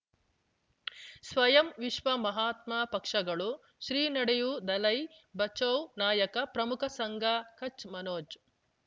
ಸ್ವಯಂ ವಿಶ್ವ ಮಹಾತ್ಮ ಪಕ್ಷಗಳು ಶ್ರೀ ನಡೆಯೂ ದಲೈ ಬಚೌ ನಾಯಕ ಪ್ರಮುಖ ಸಂಘ ಕಚ್ ಮನೋಜ್